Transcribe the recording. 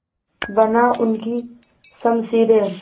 बना उनकी शमशीरें